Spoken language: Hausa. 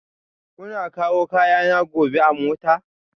Kuna kawo kayana gobe a mota?